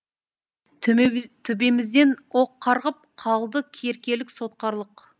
төбемізден оқ қарғып қалды еркелік сотқарлық